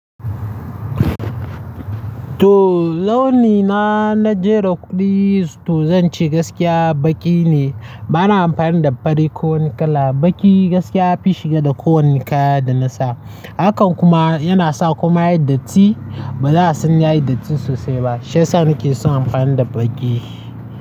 To launi na, na jera kuɗi to zan ce gaskiya baƙi ne. Ba na amfani da fari ko wani kala. Baƙi gaskiya fi shiga da kowanne kaya da na sa. Hakan kuma yana sa kuma yayi datti. Ba za a san yayi datti sosai ba. Shiya sa ni ke son amfani da baƙi.